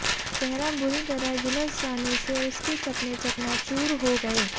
चेहरा बुरी तरह झुलस जाने से उसके सपने चकनाचूर हो गए